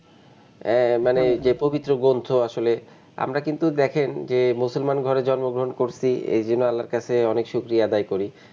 আহ মানে যে পবিত্র গ্রন্থ আসলে আমরা কিন্তু দেখেন যে মুসলমান ঘরে জন্ম গ্রহন করছি এই জন্য আল্লাহর কাছে অনেক শুকরিয়া আদায় করি.